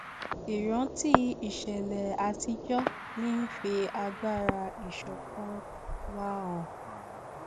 ìrántí ìṣẹlẹ àtijọ ń fi agbára ìṣọkan wa hàn